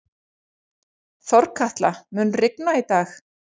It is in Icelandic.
Þorkatla, mun rigna í dag?